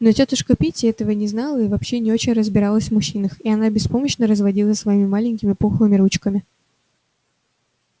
но тётушка питти этого не знала и вообще не очень разбиралась в мужчинах и она беспомощно разводила своими маленькими пухлыми ручками